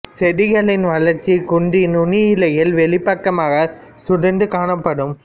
செடிகளின் வளர்ச்சி குன்றி நுனி இலைகள் வெளிப்பக்கமாக சுருண்டு காணப்படும்